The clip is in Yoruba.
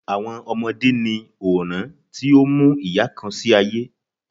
Awọn ọmọde ni awọn oran ti o mu iya kan si aye